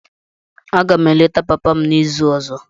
Aga m eleta papa m n'izu ọzọ.